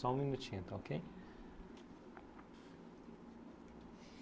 Só um minutinho, está okay?